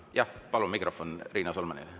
Jah, palun mikrofon Riina Solmanile.